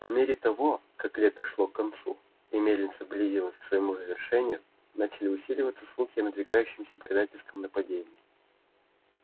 по мере того как лето шло к концу и мельница близилась к своему завершению начали усиливаться слухи о надвигающемся предательском нападении